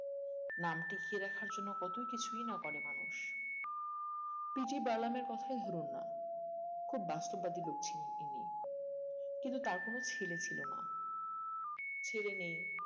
নাম টিকিয়ে রাখার জন্য কতই না কিছু করে মানুষ PT বার্নামের কথাই ধরুন না খুব বাস্তববাদী লোক ছিলেন ইনি কিন্তু তার কোনো ছেলে ছিল না ছেলে নেই